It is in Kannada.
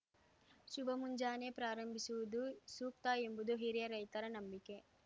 ಶುಭ ಮುಂಜಾನೆ ಪ್ರಾರಂಭಿಸುವುದು ಸೂಕ್ತ ಎಂಬುದು ಹಿರಿಯ ರೈತರ ನಂಬಿಕೆ